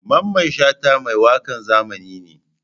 Mamman Shata mai wakan zamani ne?